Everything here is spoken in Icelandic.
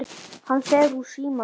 Hann fer úr sínum.